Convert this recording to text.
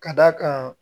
Ka d'a kan